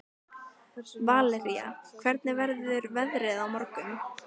Valería, hvernig verður veðrið á morgun?